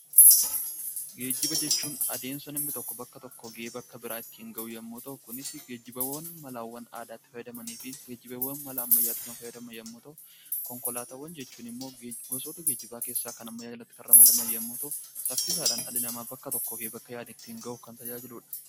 Geejiba jechuun adeemsa namni tokko bakka tokkoo gara bakka biraa ittiin gahu yoo ta'u, kunis geejiba malaawwan aadaatti fayyadamanii fi geejibaawwan mala ammayyaatti fayyadaman yemmuu ta'u, konkolaataawwan gosoota geejiba ammayyaa jalatti ramadaman yemmuu ta'u, saffisaan bakka yaade ittiin gahuudhaaf kan tajaajiludha.